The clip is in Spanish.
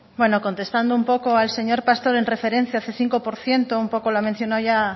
bueno contestando un poco al señor pastor en referencia del cinco por ciento un poco lo ha mencionado ya